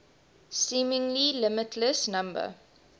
seemingly limitless number